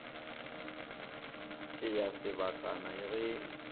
ke ya sebakana ya ge